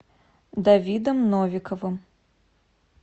давидом новиковым